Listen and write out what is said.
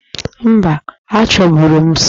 Mba, achọburu m sọọ